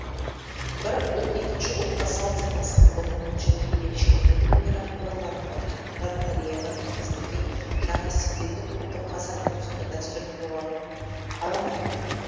бір ұлт екінші ұлтқа салт санасын ұғымын және ерекшелігін өнер арқылы танытады сондықтан кореядан енгізілген жаңа стилдегі топтың қазақ музыка дәстүрін бұлғағанын қаламаймын